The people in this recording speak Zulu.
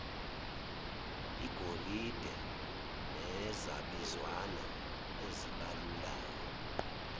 igolide nezabizwana ezibalulayo